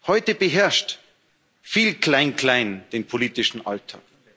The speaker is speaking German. Heute beherrscht viel Klein Klein den politischen Alltag.